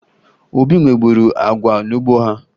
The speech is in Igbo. Obi nweburu agwa n'ugbo ya